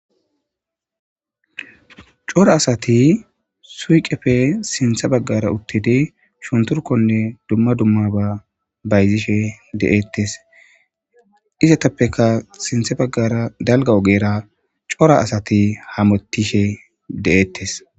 cora asati suyqepfe sintha baggara uttidi shunturkonne dumma dumma ba bayzishe de7ettes izatappeka sintha baggara dalga ogera cora asati hametishe de7ettes